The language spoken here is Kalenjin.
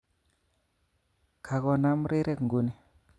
Kakonam rirek nguni